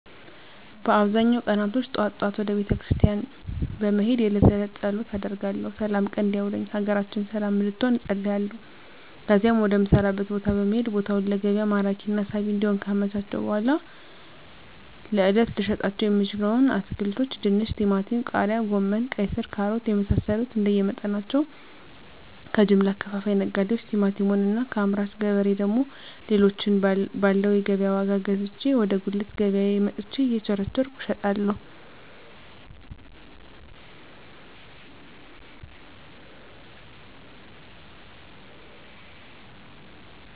በአብዛኛው ቀናቶች ጠዋት ጠዋት ወደ ቤተክርስቲያን በመሄድ የእለት ተእለት ፀሎት አደርጋለሁ ስላም ቀን እንዲያውለኝ ሀገራችንን ሰለም እንድትሆን እፀልያለሁ ከዚያም ወደ ምሰራበት ቦታ በመሄድ ቦታውን ለገቢያ ማራኪና ሳቢ እንዲሆን ካመቻቸሁ በኃላ ለእለት ልሸጣቸው የምችለዉን አትክልቶች ድንች ቲማቲም ቃሪያ ጎመን ቀይስር ካሮት የመሳሰሉትንእንደየ መጠናቸው ከጀምላ አከፋፋይ ነጋዴዎች ቲማቲሙን እና ከአምራች ገበሬ ደግሞ ሌሎችን ባለው የገቢያ ዋጋ ገዝቼ ወደ ጉልት ገቢያየ መጥቸ እየቸረቸርኩ እሸጣለሁ